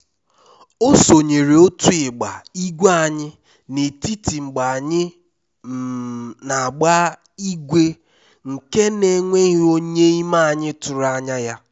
o sonyere otu ịgba igwe anyị n'etiti mgbe anyị um n'agba igwe nke na enweghị onye n'ime anyị tụrụ anya ya